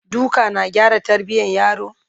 duka na gyara tarbiyan yaro?